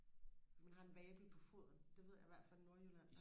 når man har en vabel på foden det ved jeg i hvert fald i nordjylland